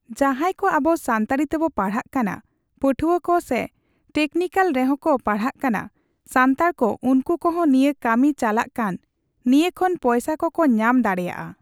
ᱡᱟᱦᱟᱸᱭ ᱠᱚ ᱟᱵᱚ ᱥᱟᱱᱛᱟᱲᱤ ᱛᱮᱵᱚ ᱯᱟᱲᱦᱟᱜ ᱠᱟᱱᱟ ᱯᱟᱹᱴᱷᱣᱟᱹ ᱠᱚ ᱥᱮ ᱴᱮᱠᱱᱤᱠᱮᱞ ᱨᱮᱦᱚᱸᱠᱚ ᱯᱟᱧᱦᱟᱜ ᱠᱟᱱᱟ ᱥᱟᱱᱛᱟᱲ ᱠᱚ ᱩᱱᱠᱩ ᱠᱚᱦᱚᱸ ᱱᱤᱭᱟᱹ ᱠᱟᱹᱢᱤ ᱪᱟᱞᱟᱜ ᱠᱟᱱ, ᱱᱤᱭᱟᱹ ᱠᱷᱚᱱ ᱯᱚᱭᱥᱟ ᱠᱚᱠᱚ ᱧᱟᱢ ᱫᱟᱲᱮᱭᱟᱜᱼᱟ᱾